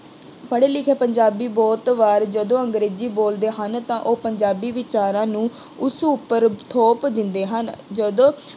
ਪੜ੍ਹੇ ਲਿਖੇ ਪੰਜਾਬੀ ਬਹੁਤ ਵਾਰ ਜਦੋਂ ਅੰਗਰੇਜ਼ੀ ਬੋਲਦੇ ਹਨ ਤਾਂ ਉਹ ਪੰਜਾਬੀ ਵਿਚਾਰਾਂ ਨੂੰ ਉਸ ਉੱਪਰ ਥੋਪ ਦਿੰਦੇ ਹਨ। ਜਦੋਂ